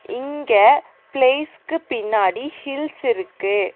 இங்க ப்ளேஸ்க்கு பின்னாடி ஹில்ஸ் இருக்கு.